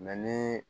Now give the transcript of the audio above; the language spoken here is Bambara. ni